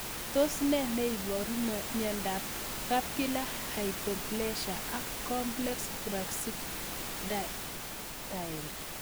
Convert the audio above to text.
Tos nee neiparu miondop Fibular hypoplasia ak complex brachydactyly?